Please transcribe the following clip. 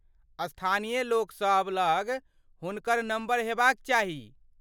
स्थानीय लोक सब लग हुनकर नम्बर हेबाक चाही।